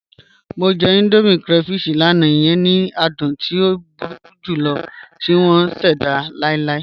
Mọ jẹ̀ Indomie crayfish lánà, iyẹn ni àdùn tí o búru julọ̀ tì wọn ṣẹda láìláì.